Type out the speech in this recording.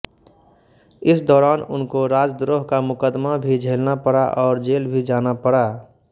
इस दौरान उनको राजद्रोह का मुकदमा भी झेलना पड़ा और जेल भी जाना पड़ा